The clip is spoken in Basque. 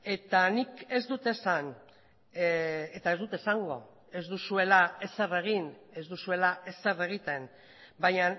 eta nik ez dut esan eta ez dut esango ez duzuela ezer egin ez duzuela ezer egiten baina